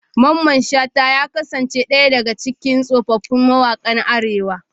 Mamman shata ya kasance daya daga cikin tsofaffin mawakan arewa.